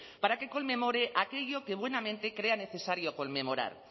para que conmemore aquello que buenamente crea necesario conmemorar